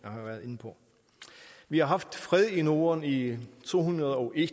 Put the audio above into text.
vi har haft fred i norden i to hundrede og en